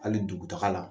Hali dugutaga la